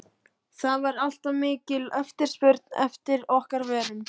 það var alltaf mikil eftirspurn eftir okkar vörum.